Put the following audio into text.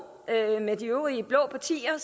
med de øvrige blå partier